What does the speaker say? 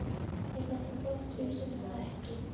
Er þetta brottvísun eða ekki?